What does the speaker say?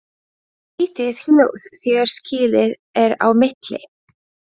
Skrýtið hljóð þegar skilið er á milli.